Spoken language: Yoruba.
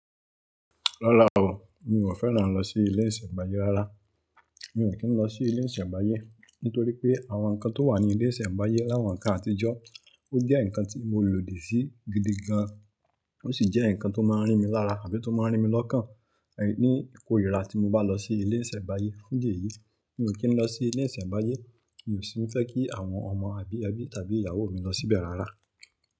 Rara o, mi ò fẹ́ràn a n lọ sí ilé ìṣẹ̀pádé rárá. Mi ò kí ń lọ sí ilé ìṣẹ̀nbáyé nítorí pé àwọn nǹkan tó wà ní ilé ìṣẹ̀nbáyé láwọn nnkán àtijọ́ ó jẹ́ nǹkan tí mo lòdì sí gidi gan an. Ó sì jẹ́ nǹkan tó máa ń rín mi lára àbí tó máa ń rín mi lọ́kàn ní ìkórìíra tí mo bá lọ sí ilé ìṣẹ̀nbáyé. Fun idí ẹ̀yìí mi ò kí ń lọ sí ilé ìṣẹ̀nbáyé, mi ò sì ń fẹ́ kí àwọn ọmọ àbí ẹbí tàbí ìyàwó mi lọ síbẹ̀ rárá.